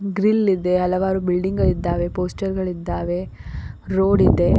Grill ಇದೆ ಹಲವಾರು building ಇದ್ದಾವೆ ಪೋಸ್ಛರ ಗಳಿದ್ದಾವೆ ರೋಡ್ ಇದೆ.